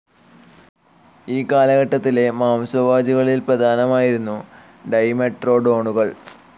ഈ കാലഘട്ടത്തിലെ മാംസഭോജികളിൽ പ്രധാനമായിരുന്നു ഡൈമെട്രോഡോണുകൾ.